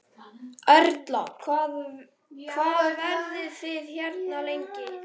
Erla: Hvað verðið þið hérna lengi?